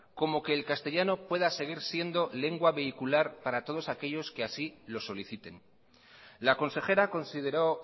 como que el castellano pueda seguir siendo lengua vehicular para todos aquellos que así lo soliciten la consejera consideró